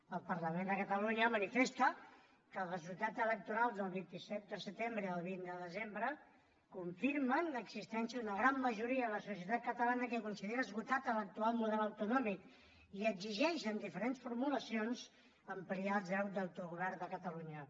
el parlament de catalunya manifesta que els resultats electorals del vint set de setembre i el vint de desembre confirmen l’existència d’una gran majoria de la societat catalana que considera esgotat l’actual model autonòmic i exigeix en diferents formulacions ampliar el dret d’autogovern de catalunya